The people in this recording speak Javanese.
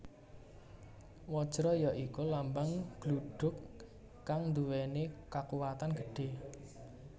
Wajra ya iku lambang gludhug kang nduwèni kakuwatan gedhé